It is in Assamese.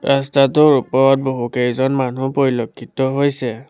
ৰাস্তাটোৰ ওপৰত বহুকেইজন মানুহ পৰিলক্ষিত হৈছে।